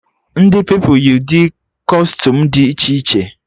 Ndị Pupilụ yi ụdị kọstuum dị iche iche